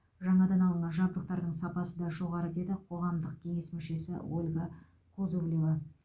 жаңадан алынған жабдықтардың сапасы да жоғары деді қоғамдық кеңес мүшесі ольга кузовлева